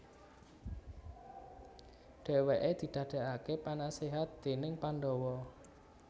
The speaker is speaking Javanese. Dhèwèké didadèkaké penaséhat déning Pandawa